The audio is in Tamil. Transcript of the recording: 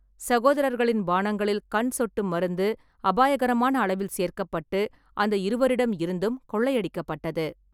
சகோதரர்களின் பானங்களில் கண் சொட்டு மருந்து அபாயகரமான அளவில் சேர்க்கப்பட்டு அந்த இருவரிடம் இருந்தும் கொள்ளையடிக்கப்பட்டது.